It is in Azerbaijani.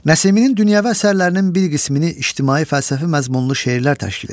Nəsiminin dünyəvi əsərlərinin bir qismini ictimai fəlsəfi məzmunlu şeirlər təşkil edir.